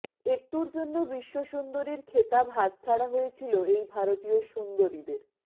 একটুর জন্য বিশ্ব সুন্দরীর খেতাব হাতছাড়া হয়েছিল এই ভারতীয় সুন্দরীদের